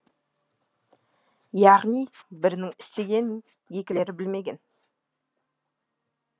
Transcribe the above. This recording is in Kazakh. яғни бірінің істегенін екілері білмеген